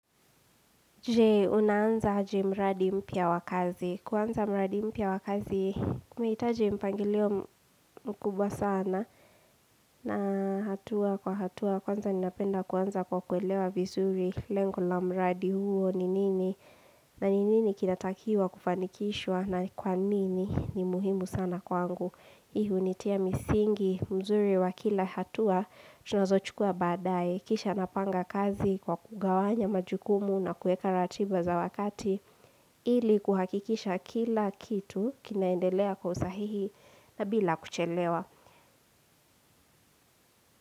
Je, unaanza aje mradi mpya wa kazi? Kuanza mradi mpya wa kazi, unahitaji mpangilio mkubwa sana na hatua kwa hatua. Kwanza ninapenda kuanza kwa kuelewa vizuri lengo la mradi huo ni nini. Na ni nini kinatakiwa kufanikishwa na kwa nini ni muhimu sana kwangu. Hii hunitia misingi, mzuri wa kila hatua, tunazochukua baadaye, kisha napanga kazi kwa kugawanya majukumu na kuweka ratiba za wakati, ili kuhakikisha kila kitu kinaendelea kwa usahihi na bila kuchelewa.